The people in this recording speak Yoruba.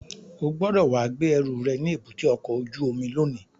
O gbọ́dọ̀ wá gbé ẹrù rẹ̀ ní èbúté ọkọ̀ ojú omi lónìí!